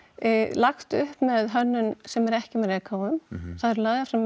lagt upp með hönnun sem er ekki með reykháfum það eru lagðir fram